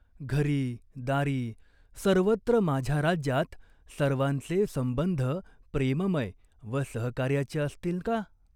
घरी दारी सर्वत्र माझ्या राज्यात सर्वाचे संबंध प्रेममय व सहकार्याचे असतील का ?